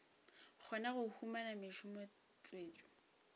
kgona go humana mešomo tswetšo